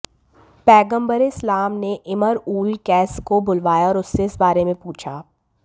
पैग़म्बरे इस्लाम ने Imrul Qais को बुलवाया और उससे इस बारे में पूछा